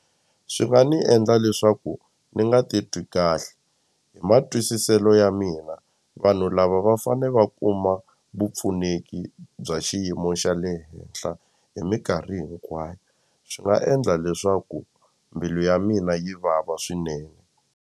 Swi nga ni endla leswaku ni nga titwi kahle hi matwisiselo ya mina vanhu lava va fane va kuma vupfuneki bya xiyimo xa le henhla hi minkarhi hinkwayo swi nga endla leswaku mbilu ya mina yi vava swinene.